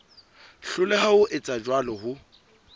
hloleha ho etsa jwalo ho